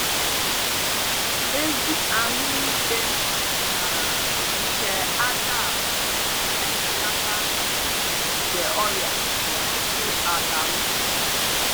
Ezi ahụike um nke ajaala na-ebelata nkwụpụ nke ọrịa n'ọtụtụ àlàubi.